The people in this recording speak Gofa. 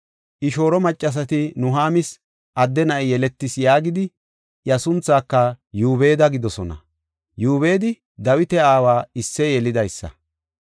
I shooro maccasati, “Nuhaamis adde na7i yeletis” yaagidi iya sunthaaka Yoobeda gidoosona. Yoobedi Dawita aawa Isseye yelidaysa.